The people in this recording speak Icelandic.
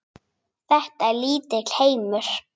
Þetta er lítill heimur.